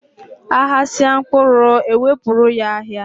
A ghasịa mkpụrụ, e wepụrụ ya ahịa.